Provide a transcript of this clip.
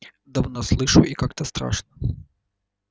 давно слышу и как-то страшно